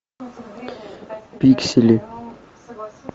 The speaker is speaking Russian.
пиксели